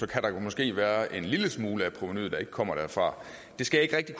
kan der måske være en lille smule af provenuet der ikke kommer derfra det skal jeg ikke